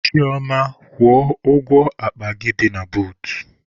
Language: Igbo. Chioma, kwụọ ụgwọ akpa gị dị na bootu!.